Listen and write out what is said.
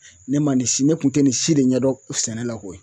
Ne ma nin si ne kun tɛ nin si de ɲɛdɔn sɛnɛ la koyi